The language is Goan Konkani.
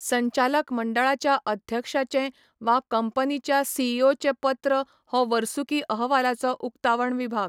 संचालक मंडळाच्या अध्यक्षाचें वा कंपनीच्या सीईओचें पत्र हो वर्सुकी अहवालाचो उक्तावण विभाग.